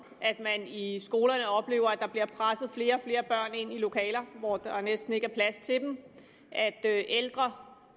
at man i i skolerne oplever at der bliver presset flere og ind i lokaler hvor der næsten ikke er plads til dem at ældre